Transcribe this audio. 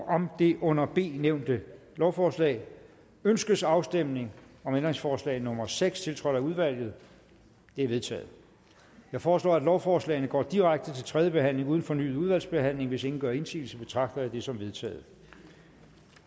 om det under b nævnte lovforslag ønskes afstemning om ændringsforslag nummer seks tiltrådt af udvalget det er vedtaget jeg foreslår at lovforslagene går direkte til tredje behandling uden fornyet udvalgsbehandling hvis ingen gør indsigelse betragter jeg det som vedtaget